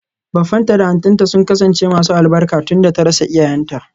Baffanta da auntynta sun kasance masu albarka tunda ta rasa iyayenta.